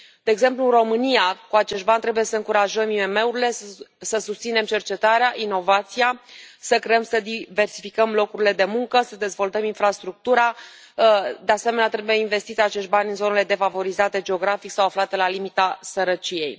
De exemplu, în România, cu acești bani trebuie să încurajăm IMM urile, să susținem cercetarea, inovația, să creăm și să diversificăm locurile de muncă, să dezvoltăm infrastructura, de asemenea, trebuie investiți acești bani în zonele defavorizate geografic sau aflate la limita sărăciei.